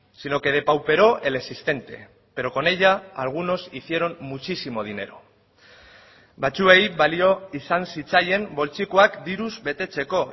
sino que depauperó el existente pero con ella algunos hicieron muchísimo dinero batzuei balio izan zitzaien poltsikoak diruz betetzeko